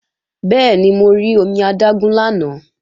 Bẹ́ẹ̀ni, mo rí omi adágún lánàá